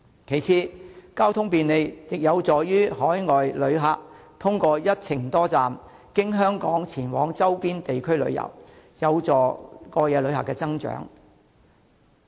其次，交通便利亦有助海外旅客通過一程多站，經香港前往周邊地區旅遊，有助過夜旅客增長。